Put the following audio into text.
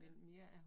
Ja